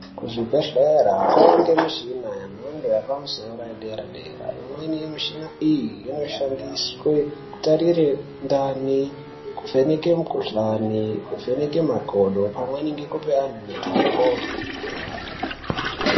Kuzvibhedhlera kunowanikwe mishina yemhando yepamusoro yedera -dera imweni yemushina iyi inoshandiswe kutarira ndani ,kuvheneke mikuhlani ,kuvheneke makodo pamweni ngekupe antu mitombo.